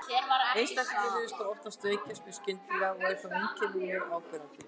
Einstaklingurinn virðist þá oft veikjast mjög skyndilega og eru þá einkennin mjög áberandi.